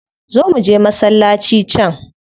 Zo muje masallaci can.